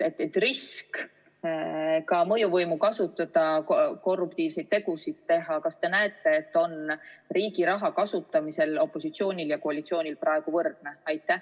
Kas te näete, et risk mõjuvõimu kasutada ja riigi raha kasutamisel korruptiivseid tegusid teha on opositsioonil ja koalitsioonil praegu võrdne?